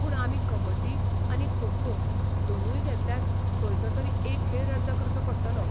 पूण आमी कबड्डी आनी खो खो दोनूय घेतल्यार खंयचो तरी एक खेळ रद्द करचो पडटलो.